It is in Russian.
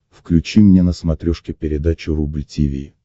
включи мне на смотрешке передачу рубль ти ви